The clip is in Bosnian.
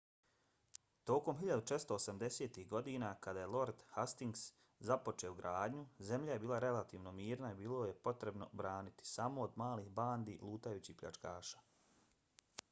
tokom 1480-ih godina kada je lord hastings započeo gradnju zemlja je bila relativno mirna i bilo ju je potrebno braniti samo od malih bandi lutajućih pljačkaša